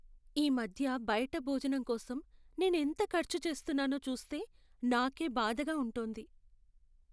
ఈమధ్య బయిట భోజనం కోసం నేను ఎంత ఖర్చు చేస్తున్నానో చూస్తే నాకే బాధగా ఉంటోంది.